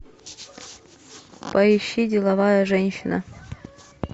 поищи деловая женщина